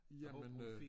Jamen øh